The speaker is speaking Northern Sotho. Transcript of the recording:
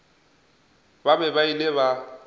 ba be ba ile ba